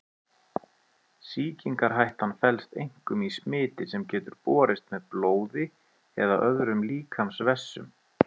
Sýkingarhættan felst einkum í smiti sem getur borist með blóði eða öðrum líkamsvessum.